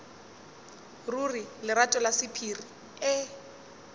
ruri lerato la sephiri e